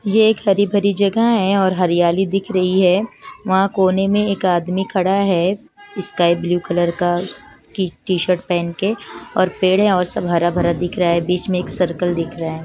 ये एक हरी भरी जगह है और हरियाली दिख रही है वहाँ कोने में एक आदमी खड़ा है स्काई ब्लू कलर का टी-शर्ट पेहन के और पेड़ है और सब हरा-भरा दिख रहा है बीच में एक सर्कल दिख रहा है।